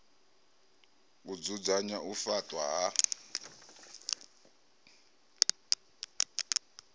u dzudzanya u faṱwa ha